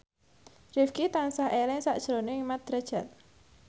Rifqi tansah eling sakjroning Mat Drajat